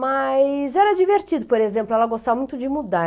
Mas era divertido, por exemplo, ela gostava muito de mudar.